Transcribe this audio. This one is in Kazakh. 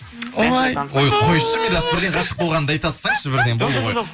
ой ой қойшы мирас бірден ғашық болғаныңды айта салсаңызшы бірден болды ғой